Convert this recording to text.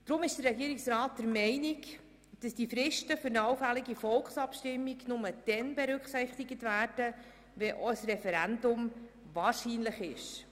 Deshalb ist der Regierungsrat der Meinung, dass die Fristen für eine allfällige Volksabstimmung nur dann berücksichtigt werden, wenn ein Referendum wahrscheinlich ist.